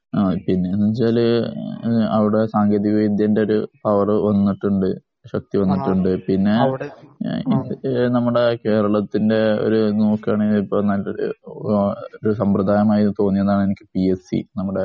ആ പിന്നെ എന്ന് വച്ചാല് അവിടെ സാങ്കേതിക വിദ്യന്റെ ഒരു പവര് വന്നിട്ടുണ്ട്. ശക്തി വന്നിട്ടുണ്ട് പിന്നെ നമ്മുടെ കേരളത്തിന്റെ ഒരു നോക്കുകയാണെങ്കിൽ ഇപ്പോ നല്ല ഒരു സമ്പറാദായമായി തോന്നിയതാണ് എനിക്ക് പിഎസ്സി